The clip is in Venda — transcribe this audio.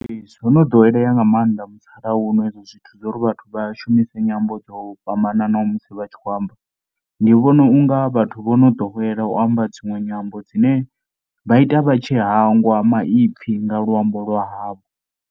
Ee, zwo no ḓowelea nga maanḓa musalauno zwo ri vhathu vha shumise nyambo dzo fhambananaho musi vha tshi kho amba. Ndi vhona u nga vhathu vho no ḓowela u amba dzinwe nyambo dzine vha ita vha tshi hangwa maipfhi nga luambo lwa havho.